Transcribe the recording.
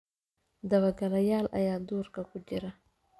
Dabagaalayaal ayaa duurka ku jira